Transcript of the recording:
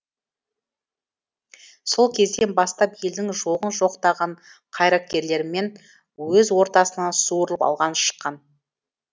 сол кезден бастап елдің жоғын жоқтаған қайраткерлігімен өз ортасынан суырылып алға шыққан